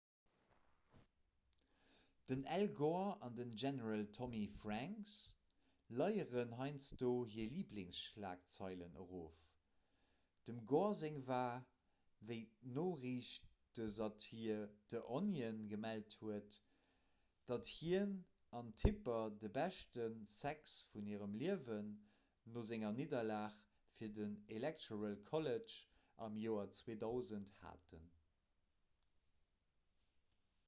den al gore an den general tommy franks leieren heiansdo hir liblingsschlagzeilen erof dem gore seng war wéi d'noriichtesatir the onion gemellt huet datt hien an d'tipper de beschte sex vun hirem liewen no senger nidderlag fir den electoral college am joer 2000 haten.